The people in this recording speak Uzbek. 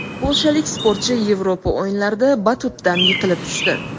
Polshalik sportchi Yevropa o‘yinlarida batutdan yiqilib tushdi .